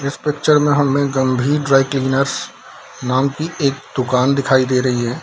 जिस पिक्चर में हमें गंभीर ड्राई क्लीनरस नाम की एक दुकान दिखाई दे रही है।